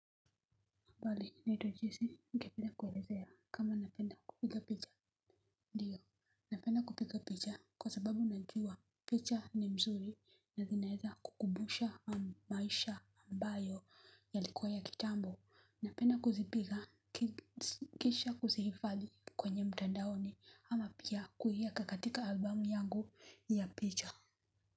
Bali, naitwa Jesi, ningependa kuelezea kama napenda kupiga picha. Ndiyo, napenda kupiga picha kwa sababu najua picha ni mzuri na zinaweza kukumbusha maisha ambayo yalikuwa ya kitambo. Napenda kuzipiga kisha kuzihifadhi kwenye mtandaoni ama pia kuiweka katika album yangu ya picha.